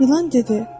İlan dedi: